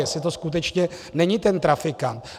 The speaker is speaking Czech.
Jestli to skutečně není ten trafikant.